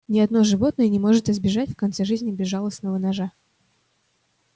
но ни одно животное не может избежать в конце жизни безжалостного ножа